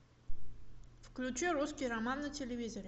включи русский роман на телевизоре